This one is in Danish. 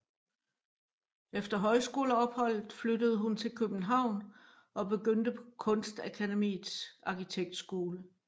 Efter højskoleopholdet flyttede hun til København og begyndte på Kunstakademiets Arkitektskole